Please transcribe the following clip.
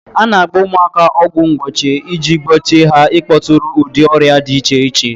A na-agba ụmụaka ọgwụ mgbochie iji gbochie ha ịkpọtụrụ ụdị ọrịa di iche iche.